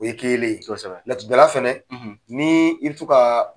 O ye kelen ye . Laturudala fɛnɛ ni i bi tɔ ka